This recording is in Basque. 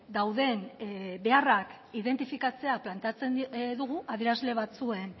dauden beharrak identifikatzea planteatzean dugu adierazle batzuen